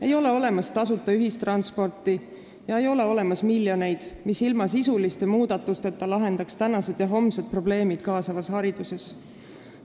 Ei ole olemas tasuta ühistransporti ega miljoneid, mis ilma sisuliste muudatusteta lahendaksid tänased ja homsed probleemid kaasavas hariduses.